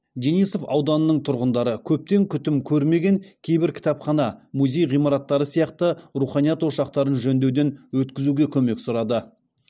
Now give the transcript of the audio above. денисов ауданының тұрғындары көптен күтім көрмеген кейбір кітапхана музей ғимараттары сияқты руханият ошақтарын жөндеуден өткізуге көмек сұрады